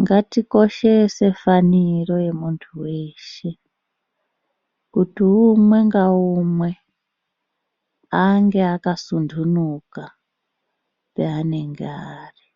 ngatikoshese faniro yenunthu weshe kuti ummwe ngaumwe ange akasuntunuka paanenge ari.